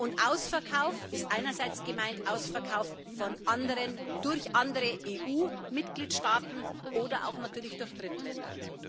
Mit Ausverkauf ist einerseits gemeint Ausverkauf durch andere EU-Mitgliedstaaten oder auch natürlich durch Drittländer.